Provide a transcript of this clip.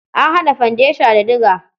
An haƙa fandesha da diga.